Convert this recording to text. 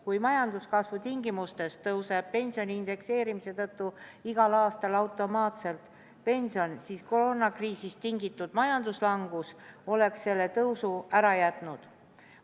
Kui majanduskasvu tingimustes tõuseb pension indekseerimise tõttu igal aastal automaatselt, siis koroonakriisist tingitud majanduslangus oleks selle tõusu ära jätnud.